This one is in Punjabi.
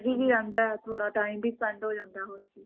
busy ਵੀ ਰਹਿੰਦਾ ਥੋੜਾ time ਵੀ spend ਹੋ ਜਾਂਦਾ ਹੋਰ ਕੀ